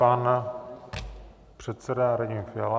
Pan předseda Radim Fiala.